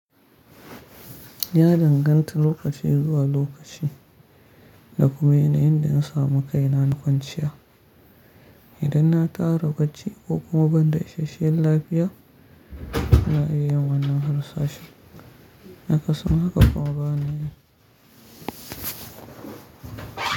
Ya danganta lokaci zuwa lokaci da kuma yanayin da na samu kaina na kwanciya. Idan na tara bacci ko kuma ban da isasshen lafiya, na iya yin wannan harsashi. Akasin haka kuma bana yi.